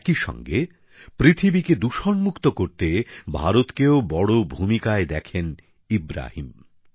একই সঙ্গে পৃথিবীকে দূষণমুক্ত করতে ভারতকেও বড় ভূমিকায় দেখতে চান ইব্রাহিম